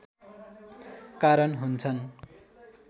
कारण हुन्छन्।